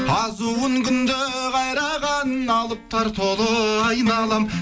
азуын күнде қайраған алыптар толы айналам